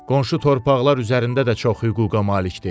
Qonşu torpaqlar üzərində də çox hüquqa malikdir.